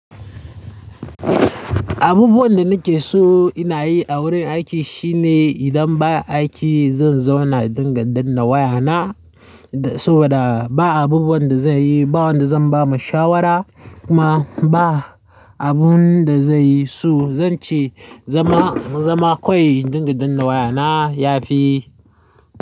Abubuwan da nake so inayi a wurin aiki shine idan ba aiki zan zauna dinga danna wayana saboda ba abubuwan da zaiyi ba wanda zan bama shawara kuma ba abun da zaiyi so zanci zama, zama kawai dinga danna wayana ya fi.